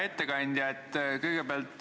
Hea ettekandja!